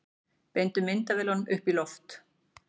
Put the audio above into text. Beindu myndavélunum upp í loft